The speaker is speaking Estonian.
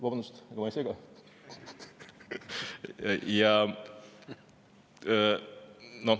Vabandust, ega ma ei sega?